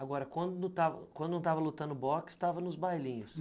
Agora, quando não estava quando não estava lutando boxe, estava nos bailinhos.